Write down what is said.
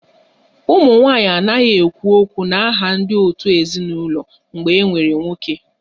Ụmụ nwanyị anaghị ekwu okwu n'aha ndị òtù ezinụlọ mgbe e nwere nwoke